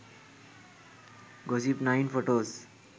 gossip9 photos